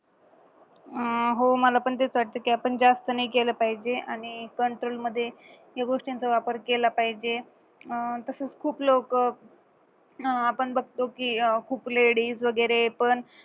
अह हो मला पण तेच वाटतं कि आपण जास्त नाय केलं पाहिजे आणि control मध्ये या गोष्टीचा वापर केला पाहिजे अह तसंच खूप लोकं अह आपण बघतो की खूप ladies वैगरे पण